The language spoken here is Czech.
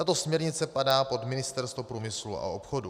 Tato směrnice spadá pod Ministerstvo průmyslu a obchodu.